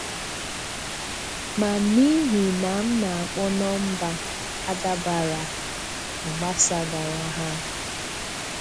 Ma n’ihi na m na-akpọ nọmba adàbàrà, ọ gbasàgàrà ha.